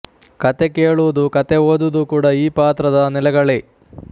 ಕತೆ ಕೇಳುವುದು ಕತೆ ಓದುವುದು ಕೂಡ ಈ ಪಾತ್ರದ ನೆಲೆಗಳೇ